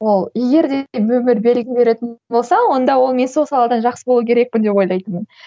ол егер де өмір белгі беретін болса онда ол мен сол саладан жақсы болу керекпін деп ойлайтынмын